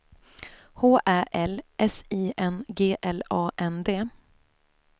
H Ä L S I N G L A N D